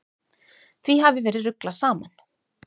Því hafi verið ruglað saman.